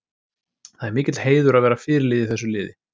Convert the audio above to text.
Það er mikill heiður að vera fyrirliði í þessu liði.